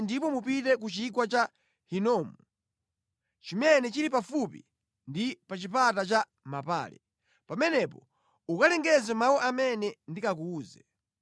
ndipo mupite ku Chigwa cha Hinomu chimene chili pafupi ndi pa chipata cha mapale. Pamenepo ukalengeze mawu amene ndikakuwuze.